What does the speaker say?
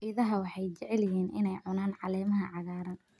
Idaha waxay jecel yihiin inay cunaan caleemaha cagaaran.